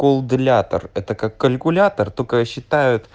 колдынатор это как калькулятор только считает